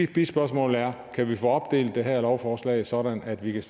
bispørgsmål er kan vi få opdelt det her lovforslag sådan at vi kan